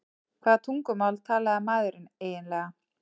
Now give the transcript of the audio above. Hvaða tungumál talaði maðurinn eiginlega?